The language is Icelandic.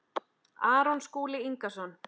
Aron Skúli Ingason